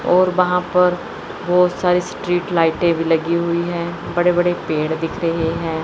और वहां पर बहोत सारी स्ट्रीट लाइटें भी लगी हुई हैं बड़े बड़े पेड़ दिख रहे हैं।